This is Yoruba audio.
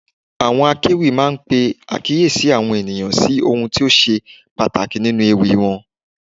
Àwọn akéwì máa ń pe àkíyèsí àwọn ènìyàn sí ohun tó ṣe pàtàkì nípa ewì wọn.